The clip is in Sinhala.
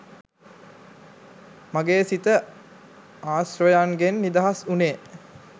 මගේ සිත ආශ්‍රවයන්ගෙන් නිදහස් වුණේ.